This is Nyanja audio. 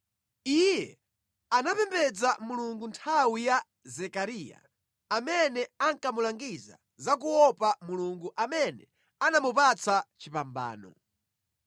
Iye anapembedza Mulungu nthawi ya Zekariya, amene ankamulangiza za kuopa Mulungu amene anamupatsa chipambano.